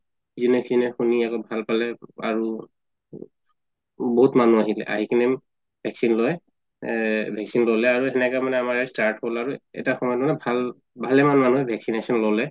শুনি আছো ভাল পালে আৰু উব বহুত মানুহ আহিল আহি কিনে vaccine লই vaccine ল লে আৰু সেনেকে মানে আমাৰ আৰু start হল আৰু এটা সময় ভাল ভালে মান মাঅনুহে vaccination ললে